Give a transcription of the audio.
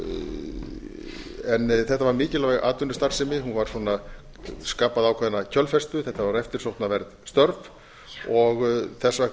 í upphafi þetta var mikilvæg atvinnustarfsemi hún skapaði ákveðna kjölfestu þetta voru eftirsóknarverð störf og þess vegna